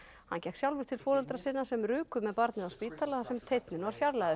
hann gekk sjálfur til foreldra sinna sem ruku með barnið á spítala þar sem teinninn var fjarlægður